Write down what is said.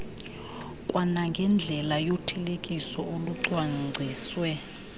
kwanangendlela yothelekiso olucwangciswe